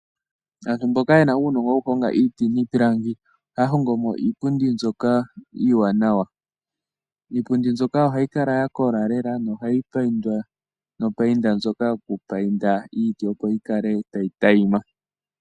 Aantu mboka ye na uunongo wokuhonga iiti niipilangi, ohaya hongo mo iipundi mbyoka iiwanawa. Iipundi mbyoka ohayi kala ya kola lela, nohayi payindwa nopayinda ndjoka yokupayinda iiti opo yikale tayi tayima.